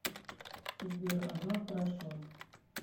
сбер ага хорошо